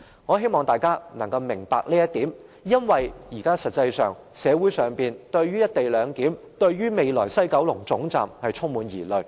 我希望大家能夠明白這一點，因為現時社會上對"一地兩檢"和未來的西九龍站充滿疑慮。